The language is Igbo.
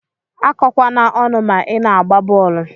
Akọkwana ọnụ ma ina agba bọọlụ.